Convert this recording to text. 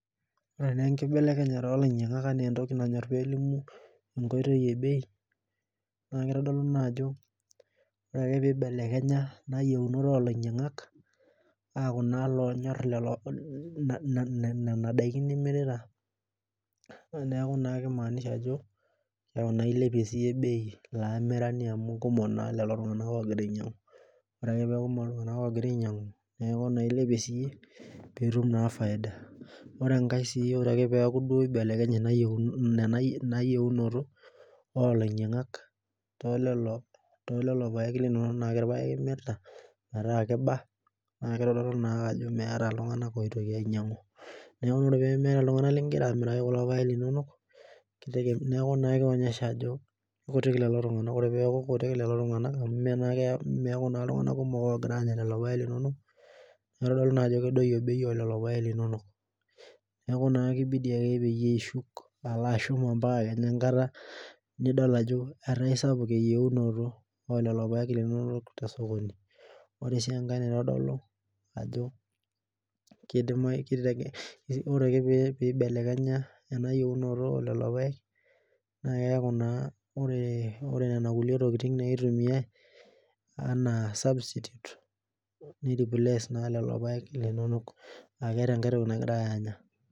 Ore na enkibelekenyat olainyangak anaa entoki nanyor pelimu bei nakitadolu ajo ore ake peibelekenya yiunot olainyangak metaa menyor nona tokitin nimirita neaky kimaanisha ajo ilepie sinyeyie olamirani bei amu kekumok logira ainyangu ore ake peaku kumol neaku ilepie sinye pitum faida ore peamu ibelekenye yienot olainyangak tololopaek limirita metaa kiba na kitodolu ajo meeta ltunganak pigil ainyangu ore peaku kutik lolotunganak meaku na ltunganak kumok ogira anya lolopaek linonok neaku kibidi ake pilo ashuk ambaka ale ekata nidil ajo etaa sapuk eyieunto ololopaek linono tosokoni ore akepibelekenya enayienoto olopaek neaku ore lolo oitumiai anaa substitute ore enkae toki nagirai anya.